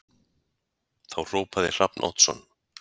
Þá hrópaði Hrafn Oddsson